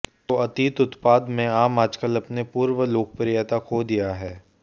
तो अतीत उत्पाद में आम आजकल अपने पूर्व लोकप्रियता खो दिया है